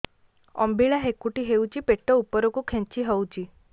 ଅମ୍ବିଳା ହେକୁଟୀ ହେଉଛି ପେଟ ଉପରକୁ ଖେଞ୍ଚି ହଉଚି